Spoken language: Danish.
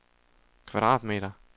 kvadratmeter